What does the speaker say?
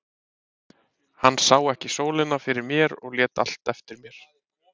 Hann sá ekki sólina fyrir mér og lét allt eftir mér.